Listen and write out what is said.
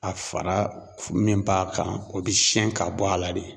A fara min p'a kan o bɛ siyɛn ka bɔ a la de.